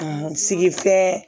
sigifɛn